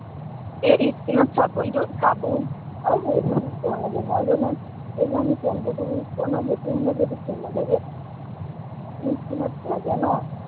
এই skin ত চাবোনটো চাবোন, আৰু হেৰিটো use কৰিব নালাগে, মই জনাত এই যে আমি shampoo টো use কৰো ন, সেইটো মানে যদি কেনেবাকে skin ত লাগে ন